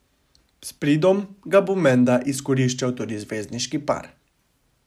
S pridom ga bo menda izkoriščal tudi zvezdniški par.